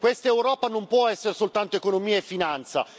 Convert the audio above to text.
Questa Europa non può essere soltanto economia e finanza.